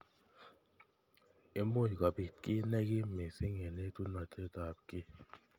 Imuchi kobit ki nekim missing eng etunotet ab ki.